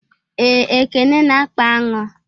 Ee, Ekene na akpa aṅụ